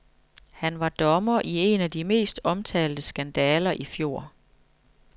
Han var dommer i en af de mest omtalte skandaler i fjor.